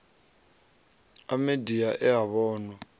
a midia e a vhonwa